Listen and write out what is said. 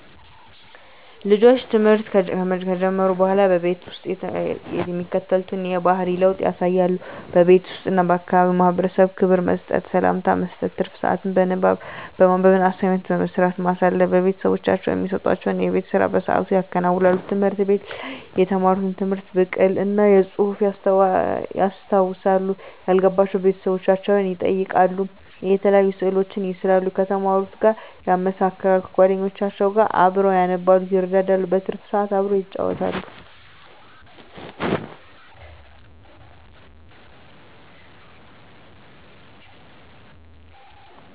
ልጆች ትምህርት ከጀመሩ በሆላ በቤተሰብ ውስጥ የሚከተሉትን የባህሪ ለውጥ ያሳያሉ:-በቤት ውስጥ እና ለአካባቢው ማህበረሰብ ክብር መስጠት፤ ሰላምታ መስጠት፤ ትርፍ ስአትን በማንበብ እና አሳይመንት በመስራት ማሳለፍ፤ ቤተሰቦቻቸው እሚሰጡዋቸውን የቤት ስራ በስአቱ ያከናውናሉ፤ ትምህርት ቤት ላይ የተማሩትን ትምህርት ብቅል እና በጹህፍ ያስታውሳሉ፤ ያልገባቸውን ቤተሰቦቻቸውን ይጠይቃሉ፤ የተለያዩ ስእሎችን ይስላሉ ከተማሩት ጋር ያመሳክራሉ፤ ከጎደኞቻቸው ጋር አብረው ያነባሉ ይረዳዳሉ። በትርፍ ስአት አብረው ይጫወታሉ።